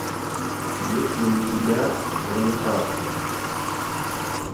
есть ли у тебя гравитация